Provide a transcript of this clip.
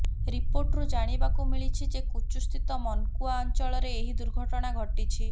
ରିପୋର୍ଟରୁ ଜାଣିବାକୁ ମିଳିଛି ଯେ କୁଚୁସ୍ଥିତ ମାନ୍କୁଆ ଅଞ୍ଚଳରେ ଏହି ଦୁର୍ଘଟଣା ଘଟିିଛି